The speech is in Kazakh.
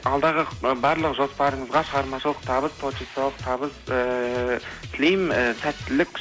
алдағы барлық жоспарыңызға шығармашылық табыс творчестволық табыс ііі тілеймін і сәттілік